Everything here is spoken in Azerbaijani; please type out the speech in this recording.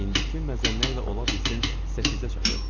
İndiki məzənnə ilə ola bilsin səkkizə çatır.